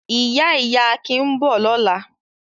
Ìyá-ìyá Akin ń bọ̀ lọ́la.